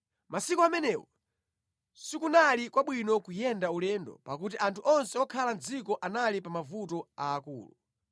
Masiku amenewo sikunali kwabwino kuyenda ulendo, pakuti anthu onse okhala mʼdziko anali pa mavuto aakulu.